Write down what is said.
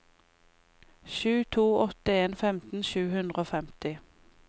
sju to åtte en femten sju hundre og femti